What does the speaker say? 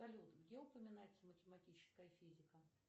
салют где упоминается математическая физика